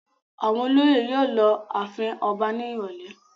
Àwọn olóyè yóò lọ ààfin ọba ní ìrọ́lẹ́.